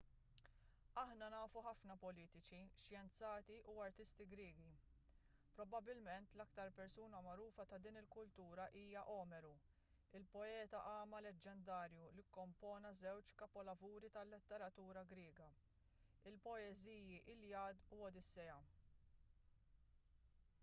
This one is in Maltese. aħna nafu ħafna politiċi xjenzati u artisti griegi probabbilment l-aktar persuna magħrufa ta' din il-kultura hija omeru il-poeta agħma leġġendarju li kkompona żewġ kapolavuri tal-letteratura griega il-poeżiji l-iliad u l-odissea